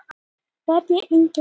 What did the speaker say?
Særós, mun rigna í dag?